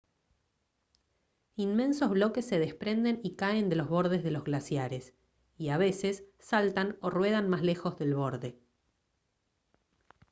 inmensos bloques se desprenden y caen de los bordes de los glaciares y a veces saltan o ruedan más lejos del borde